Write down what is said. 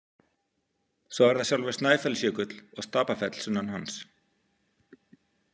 Svo er það sjálfur Snæfellsjökull og Stapafell sunnan hans.